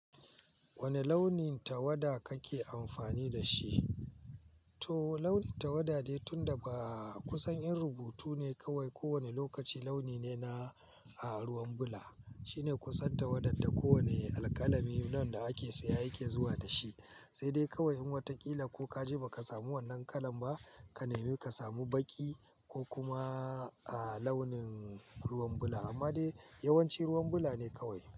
Wane launin tawada kake amfani da shi? To launin tawada dai tun da ba kusan in rubutu ne kawai. Ko wane lokaci launi ne na ruwan bula. Shine kusan tawadar da kowane alƙalami, launin da ake saya yake zuwa da shi. Sai dai kawai in wata ƙila ko ka je ba ka samu wannan kala ba, ka nemi ka samu baƙi ko kuma launin ruwan bula. Amma dai yawanci ruwan bula ne kawai.